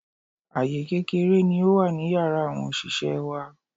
Àyè kékeré ni ó wà ní Yàrá àwọn òṣìṣẹ́ẹ wá.